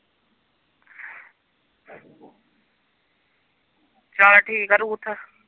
ਚੱਲ ਠੀਕ ਆ ਰੂਥ